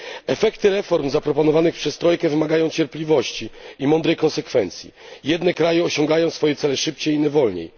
Efekty reform zaproponowanych przez trojkę wymagają cierpliwości i mądrej konsekwencji. Jedne kraje osiągają swoje cele szybciej, inne wolniej.